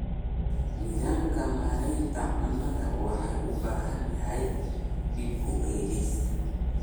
Nidaamka maareynta cunnada wuxuu u baahan yahay dib u eegis.